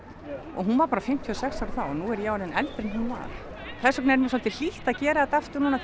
og hún var bara fimmtíu og sex ára þá og nú er ég orðin eldri en hún var þess vegna er mér svolítið hlýtt að gera þetta aftur núna